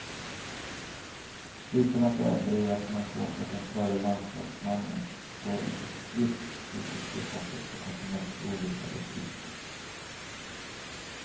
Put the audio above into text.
Utan att överdriva kan man påstå att den förre landslagsmannen står inför sitt livs hittills tuffaste och kanske mest ovissa uppgift.